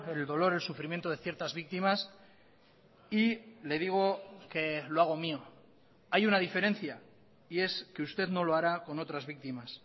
el dolor el sufrimiento de ciertas víctimas y le digo que lo hago mío hay una diferencia y es que usted no lo hará con otras víctimas